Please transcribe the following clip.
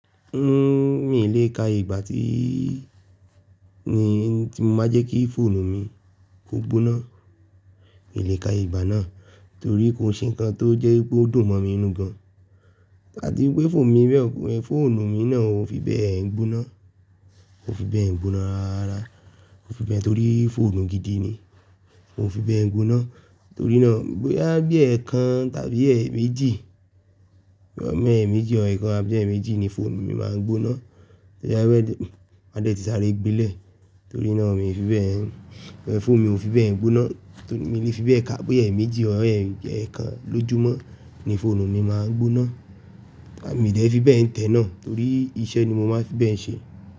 N, mi n lè ka iye ìgbà tí ni tí mo máa jẹ́ kí fóònù mi kó gbóná. N lè ka iye ìgbà náà torí kò se ǹnkan tó jẹ́ wipé ó dùn mọ́ mi n nú gan. A ti wipé fóònù mi bẹ́ẹ̀, fóònù mi náà ò fi bẹ́ẹ̀ ń gbóná, kò fi bẹ́ẹ̀ ń gbóná rárá, kò fi bẹ́ẹ̀ torí fóònù gidi ni. Kò fi bẹ́ẹ̀ ń gbóná torí náà bóyá bí ẹ̀ẹ̀kan tàbí ẹ̀ẹ̀méjì, bó ya bi ẹ̀ẹ̀méjì ọ̀r ẹ̀ẹ̀kan àbí ẹ̀ẹ̀méjì ni fóònù mi máa ń gbóná. Tí ó bá rẹ́, máa dẹ̀ ti sáré gbilẹ̀ torí náà mi ò fi bẹ́ẹ̀ ń, fóònù mi ò fi bẹ́ẹ̀ ń gbóná. Torí mi ò fi bẹ́ẹ̀ ka, bóyá ẹ̀ẹ̀méjì or ẹ̀ẹ̀kan lójúmọ́ ni fóònù mi máa ń gbóná, a mi de fi bẹ́ẹ̀ ń tẹ náà, torí iṣẹ́ ni mo máa fi bẹ́ẹ̀ ń ṣe.